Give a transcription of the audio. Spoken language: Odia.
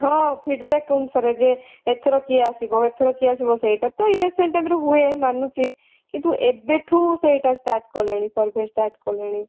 ହଁ feedback ଅନୁସାରେ ଯେ ଏଥର କିଏ ଆସିବ ଏଥର କିଏ ଆସିବ ସେଇଟା ତଵ election type ର ହୁଏ ମାନୁଛି କିନ୍ତୁ ଏବେ ଥୁ ସେଇଟା start କଲେଣି survey start କଲେଣି